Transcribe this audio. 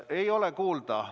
Ei ole kuulda.